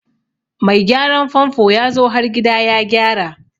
Mai gyaran famfo yazo har gida ya gyara.